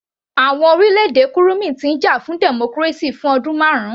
Àwọn orílẹ̀-èdè kurumi ti ń jà fún democracy fún ọdún marun